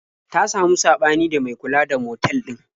Ta samu saɓani da mai kula da motal ɗin.